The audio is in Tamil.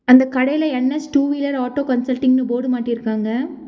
அந்த கடைல என்_எஸ் டூ வீலர் ஆட்டோ கன்சல்டிங்னு போர்டு மாட்டிருகாங்க.